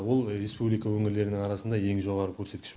ол республика өңірлерінің арасында ең жоғары көрсеткіш